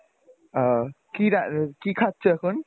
আহ কি কি খাচ্ছো এখন?